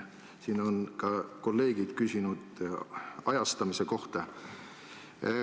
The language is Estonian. Siin on ka kolleegid küsinud ajastamise kohta.